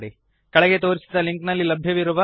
ಕೆಳಗೆ ತೋರಿಸಿದ ಲಿಂಕ್ನಲ್ಲಿ ಲಭ್ಯವಿರುವ ವೀಡಿಯೋವನ್ನು ನೋಡಿರಿ